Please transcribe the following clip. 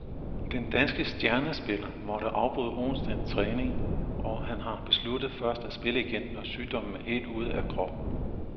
Den danske stjernespiller måtte afbryde onsdagens træning, og han har besluttet først at spille igen, når sygdommen er helt ude af kroppen.